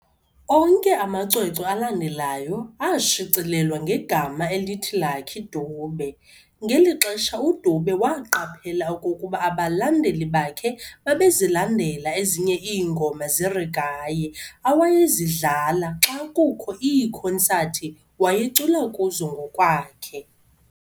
Onke amacwecwe alandelayo ashicilelwa ngema elithi "Lucky Dube". ngeli xesha uDube waqaphela okokuba abalandeli bakhe babezilandela ezinye iingoma zeregae awayezidlala xe kukho iikhonsathi wayecula kuzo ngokwakhe.